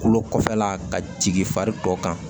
Kolo kɔfɛla ka jigin fari tɔ kan